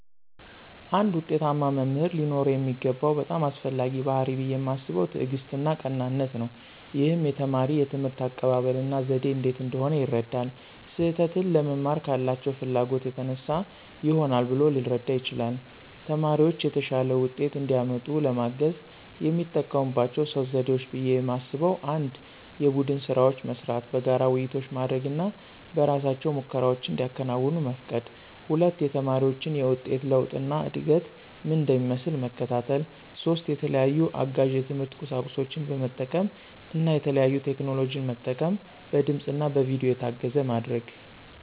አንድ ዉጤታማ መምህር ሊኖረው የሚገባው በጣም አስፈላጊው ባሕርይ ብየ ማስበው ትዕግስትና ቀናነት ነው። ይህም የተማሪ የትምህርት አቀባበል እና ዘዴ እንዴት እንደሆነ ይረዳል። ስህተትን ለመማር ካላቸው ፍላጎት የተነሳ ይሆናል ብሎ ሊረዳ ይችላል። ተማሪዎች የተሻለ ውጤት እንዲያመጡ ለማገዝ የሚጠቀሙባቸው 3 ዘዴዎች ብየ ማስበው 1=የቡድን ስራዎች መስራት፣ በጋራ ውይይቶች ማድረግ እና በእራሳቸው ሙከራዎችን እንዲያከናውኑ መፍቀድ 2=የተማሪዎችን የውጤት ለውጥ እና እድገት ምን እንደሚመስል መከታተል። 3=የተለያዩ አጋዥ የትምህርት ቁሳቁሶችን በመጠቀም እና የተለያዩ ቴክኖሎጂን መጠቀም በድምፅ እና በቪዲዮ የታገዘ ማድረግ።